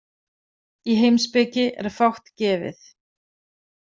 Í heimspeki er fátt gefið.